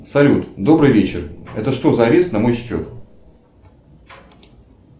салют добрый вечер это что за арест на мой счет